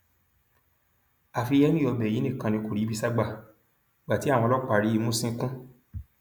àfi henry ọbẹ yìí nìkan ni kò ríbi sá gba gba ti àwọn ọlọpàá rí mú ṣìnkún